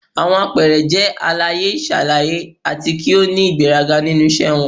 Awọn apẹẹrẹ jẹ alaye-iṣalaye ati ki o ni igberaga ninu iṣẹ wọn.